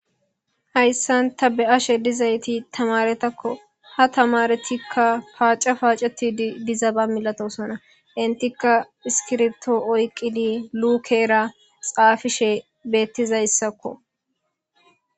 Hayssanta be7ashe dizayti tamaretakko ha tamaretikka paaca paacetidizaba milatosona intikka iskirto oyqidi luukera xaafishe beettizayssakko